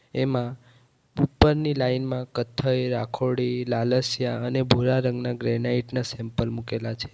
એમાં ઉપરની લાઇન માં કથ્થઈ રાખોડી લાલસ્યા અને ભૂરા રંગના ગ્રેનાઈટ ના સેમ્પલ મુકેલા છે.